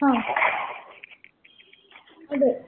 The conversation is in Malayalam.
ങാ അതെ.